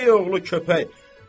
Köpək oğlu köpək!